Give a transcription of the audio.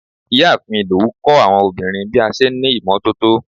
ìyáàfín Ìdòwú kọ́ àwọn ọmọbìnrin bí a n ṣe ní imototo